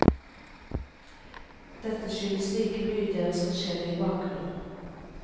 Dette skyldes like mye deres forskjellige bakgrunn.